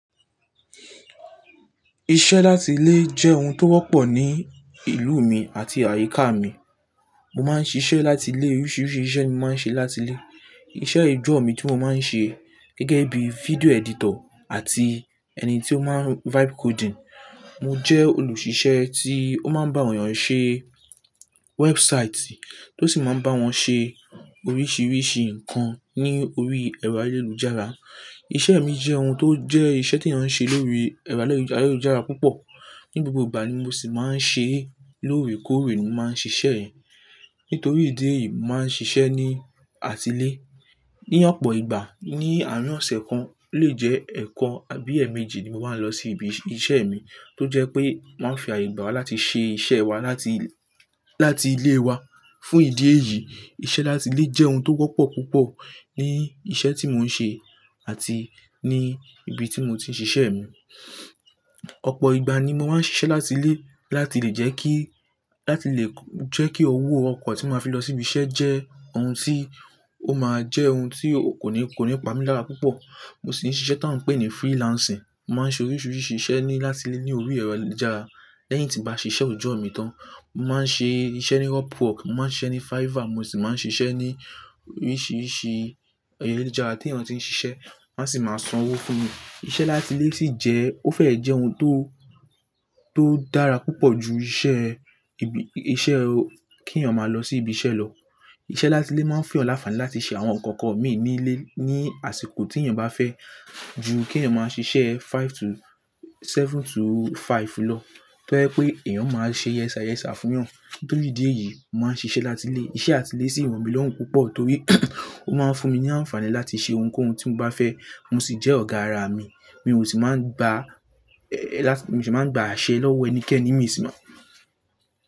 Iṣẹ́ láti ilé jẹ́ ohun tó wọ́pọ̀ ní ìlú mi àti àyíká mi. Mo máa ń ṣiṣẹ́ láti ilé, oríṣiríṣi iṣẹ́ ni mo máa ń ṣe láti ilé. Iṣẹ́ oojọ mi tí mo máa ń ṣe gẹ́gẹ́ bí video editor àti ẹni tí ó máa ń web coding. Mo jẹ́ olùṣiṣẹ́ tí ó máa ń bá èèyàn ṣe website tí ó sì máa ń bá wọn ṣe oríṣiríṣi nǹkan ní orí ẹ̀rọ ayélujára. Iṣẹ́ mi jẹ́ ohun tó jẹ́ iṣẹ́ tí èèyàn ń ṣe lórí ẹ̀rọ ayélujára púpọ̀. Ni gbogbo ìgbà ni mo sì máa ń ṣe, lóòrèkóòrè ni mo máa ń ṣiṣẹ́. Nítorí ìdí èyí, màá ń ṣiṣẹ́ ní atilẹ̀. Ní ọ̀pọ̀ ìgbà ní àárín ọ̀sẹ̀ kan lè jẹ́ ẹẹkan àbí ẹ̀ẹ̀méjì ni mo máa ń lọ sí ibi iṣẹ́ mi tó jẹ́ pé wọn ń fi àyè gbà láti ṣe iṣẹ́ wa láti, láti ilé wa. Fún ìdí èyí, iṣẹ́ láti ilé jẹ́ ohun tó wọ́pọ̀ púpọ̀ ní iṣẹ́ tí mò ń ṣe àti ní ibi tí mo ti ń ṣiṣẹ́ mi. Ọ̀pọ̀ ìgbà ni mo máa ń ṣiṣẹ́ láti ilé láti lè jẹ́ kí, láti lè jẹ́ kí owó ọkọ̀ tí màá fi lọ sí ibi iṣẹ́ jẹ́ ohun tí ó máa jẹ́ ohun tí kò ní, kò ní pa mi l'ara púpọ̀. Mo sì ń ṣiṣẹ́ tá ń pè ní freelancing. Mo máa ń ṣe oríṣiríṣi iṣẹ́ ni láti ilé ní orí ẹ̀rọ ayélujára lẹ́yìn tí n bá ṣiṣẹ́ òjò mi tán. Mo máa ń ṣe iṣẹ́ ní Upwork, mo máa ń ṣe ní Fiver, mo sì máa ń ṣe iṣẹ́ ní oríṣiríṣi ayélujára tí èèyàn tí ń ṣiṣẹ́ wọn sì máa san owó fún mi. Iṣẹ́ láti ilé sì jẹ́, ó fẹ́ jẹ́ ohun tó, tó dára púpọ̀ ju iṣẹ́ ibi, iṣẹ́ kí èèyàn máa lọ sí ibi iṣẹ́ lọ. Iṣẹ́ láti ilé máa ń fún ọ láfààní láti ṣe àwọn nǹkan kan mí ní ilé ní àsìkò tí èèyàn bá fẹ́ ju kí èèyàn máa ṣiṣẹ́ five to-- seven to five lọ tó jẹ́ pé èèyàn máa ṣe yes sir-yes sir fún èèyàn. Nítorí ìdí èyí, màá ń ṣiṣẹ́ láti ilé. Iṣẹ́ àti ilé sì rọmí lọ́run púpọ̀ torí ó máa ń fún mi ní àǹfààní láti ṣe ohunkóhun tí mo bá fẹ́. Mo sì jẹ́ ọ̀gá ara mi. Mi ò sì máa ń gba, mi sì máa ń gba àṣẹ lọ́wọ́ ẹnikẹ́ni nii sin.